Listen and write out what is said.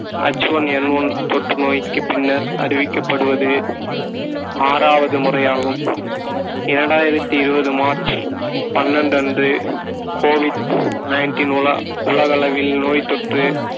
HoneNone தொற்று நோய்க்குப் பின்னர் அறிவிக்கப்படுவது ஆறாவது முறையாகும் இரண்டாயிரத்தி இருபது மார்ச் பன்னெண்டு அன்று covid nineteen உலா~ உலகளவில் நோய்த்தொற்று